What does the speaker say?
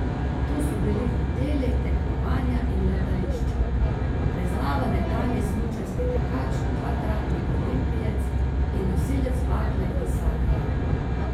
To so bili hoteli, tekmovanja in letališča, priznava nekdanji smučarski tekač, dvakratni olimpijec in nosilec bakle v Sarajevu.